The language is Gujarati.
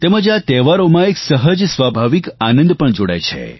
તેમજ આ તહેવારોમાં એક સહજ સ્વાભાવિક આનંદ પણ જોડાય છે